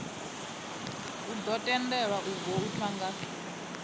ḓo tendelwa u voutha nga